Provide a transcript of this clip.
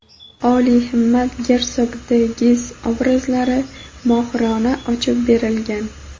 olihimmat gersog de Giz obrazlari mohirona ochib berilgan.